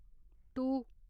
to